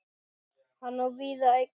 Hann á víða eignir.